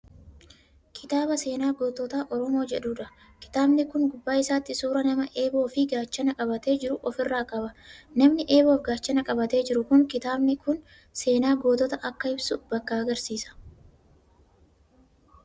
Kitaaba seenaa gootota oromoo jechuudha. Kitaamni Kuni gubbaa isaatti suuraa nama eeboo Fi gaachana qabatee jiru ofirraa qaba. namni eeboof gaachana qabatee jiru Kuni kitaabni Kuni seenaa gootota Akka ibsu bakka agarsiisa.